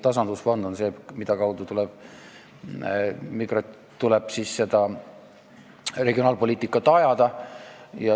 Tasandusfond on see, mille kaudu tuleb regionaalpoliitikat ajada.